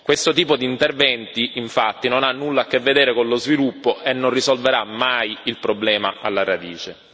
Questo tipo di interventi, infatti, non ha nulla a che vedere con lo sviluppo e non risolverà mai il problema alla radice.